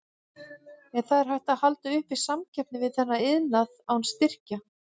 En er hægt að halda uppi samkeppni við þennan iðnað án styrkja?